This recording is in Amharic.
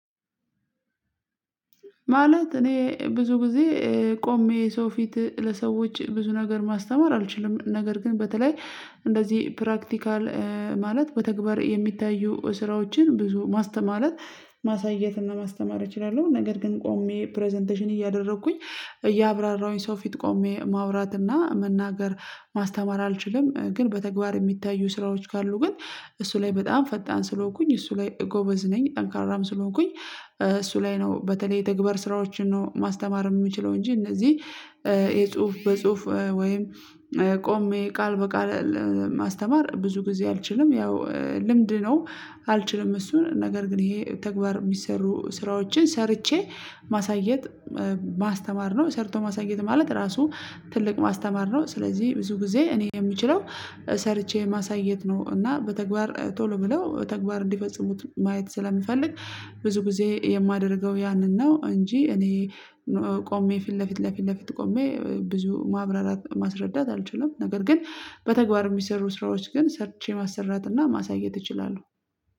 ማለት እኔ ብዙ ጊዜ ቆሜ ሰው ፊት ለሰዎች ብዙ ነገር ማስተማር አልችልም። ነገር ግን በተለይ እንደዚህ 'ፕራክቲካል' ማለት በተግባር የሚታዩ ስራዎችን ብዙ ማስተ ማለት ማሳየት እና ማስተማር እችላለሁ። ነገር ግን ቆሜ 'ፕረዘንቴሽን' እያደረኩኝ እያብራራሁኝ ሰው ፊት ቆሜ ማውራት እና መናገር ማስተማር አልችልም። ግን በተግባር የሚታዩ ስራዎች ካሉ ግን እሱ ላይ በጣም ፈጣን ስለሆንኩኝ እሱ ላይ ጎበዝ ነኝ። ጠንካራም ስለሆንኩኝ እሱ ላይ ነው በተለይ የተግባር ስራዎችን ነው ማስተማር የምችለው። እንጂ እነዚህ የጽሁፍ በጽሁፍ ወይም ቆሜ ቃል በቃል ማስተማር ብዙ ጊዜ አልችልም። ያው ልምድ ነው። አልችልም እሱን ነገር ግን ይሄ ተግባር የሚሰሩ ስራዎችን ሰርቼ ማሳየት ማስተማር ነው። ሰርቶ ማሳየት ማለት ራሱ ትልቅ ማስተማር ነው። ስለዚህ ብዙ ጊዜ እኔ የምችለው ሰርቼ ማሳየት ነው። እና በተግባር ቶሎ ብለው በተግባር እንዲፈጽሙት ማየት ስለምፈልግ ብዙ ጊዜ የማደርገው ያንን ነው። እንጂ እኔ ቆሜ ፊት ለፊት ለፊት ለፊት ቆሜ ብዙ ማብራራት ማስረዳት አልችልም። ነገር ግን በተግባር የሚሰሩ ስራዎች ግን ሰርቼ ማሰራት እና ማሳየት እችላለሁ።